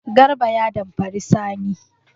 Garba ya damfari Sani.